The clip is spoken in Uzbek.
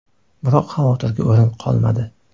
Biroq xavotirga o‘rin qolmadi.